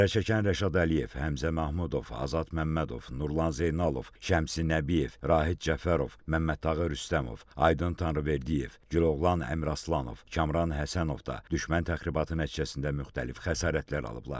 Zərər çəkən Rəşad Əliyev, Həmzə Mahmudov, Azad Məmmədov, Nurlan Zeynalov, Şəmsi Nəbiyev, Rahid Cəfərov, Məmmədtağı Rüstəmov, Aydın Tanrıverdiyev, Güloğlan Həmraslanov, Kamran Həsənov da düşmən təxribatı nəticəsində müxtəlif xəsarətlər alıblar.